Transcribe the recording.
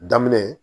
Daminɛ